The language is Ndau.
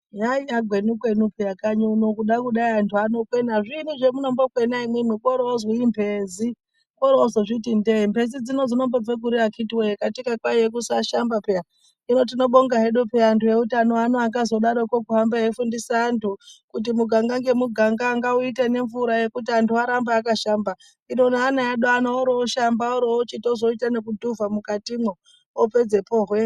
Yanga yagwenyu kwenyu peya kanyi uno, kuda kudai antu anokwena, zviinyi zvamuno mbokwena imwimwi, oro-ozwi imhezi, oro-ozozviti ndee mhezi dzino dzino mbobvepi kuri akitiwoye ,katika kwaiye kusashamba peya, hino tinobonga hedu antu ewutano akazo daroko kuhamba eifundisa antu kuti mugaga nemugaga ngawuite nemvura yekuti antu arambe akashamba hino neana edu ano oro-oshamba oro-ochizotoita neku dhuvha mukatimwo opedzepo hwe.